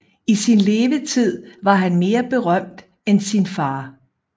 I sin levetid var han mere berømt end sin fader